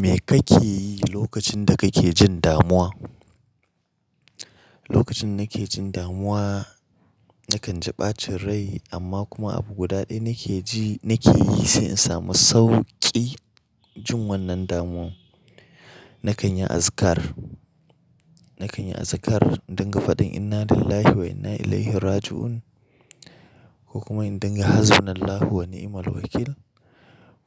Me kake yi lokacin da kake jin damuwa? Lokacin da nake jin damuwa, na kan ji ɓacin rai amma kuma abu guda ɗaya nake ji, nake yi sai in samu sauƙi jin wannan damuwa. Na kan yi azkar, na kan yi azkar inda gafadin "Inna lillahi wa inna ilaihi raji'un" ko kuma inda ga "Hasbunallahu wa ni'mal wakil"